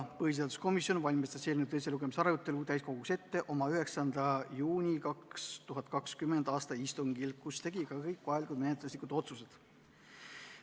Põhiseaduskomisjon valmistas eelnõu teiseks lugemiseks ette oma 9. juuni 2020. aasta istungil, kus tehti ka kõik vajalikud menetluslikud otsused.